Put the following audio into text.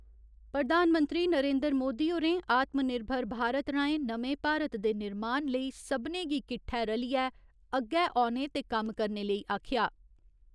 प्रधानमंत्री नरेन्द्र मोदी होरें आत्म निर्भर भारत राहें नमें भारत दे निर्माण लेई सभनें गी किट्ठै रलियै अग्गै औने ते कम्म करने लेई आखेआ।